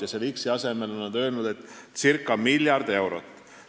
Ja selle x-i asemel on praegu öeldud circa miljard eurot.